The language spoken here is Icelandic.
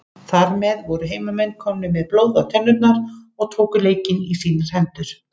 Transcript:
Þar með voru heimamenn komnir með blóð á tennurnar og tóku leikinn í sínar hendur.